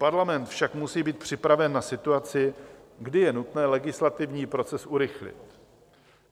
Parlament však musí být připraven na situaci, kdy je nutné legislativní proces urychlit.